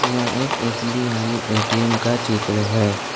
यह एक SBI ATM का चित्र है।